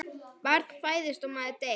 Barn fæðist og maður deyr.